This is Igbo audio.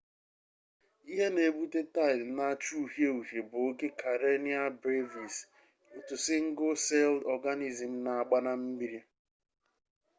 ihe n'ebute taid n'acha uhie uhie bu oke karenia brevis otu single-celled organism n'agba na mmiri